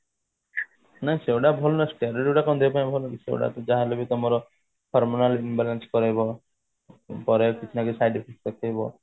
ନା ସେଗୁଡା ଭଲ ନୁହଁ steroids ଗୁଡା କଣ ଦେହ ପାଇଁ ଭଲ କି ସେଗୁଡାକ ଯାହା ହେଲେ ବି ତମର hormonal imbalance କରେଇବ ତାର କିଛି ନା କିଛି side effect ରହିବ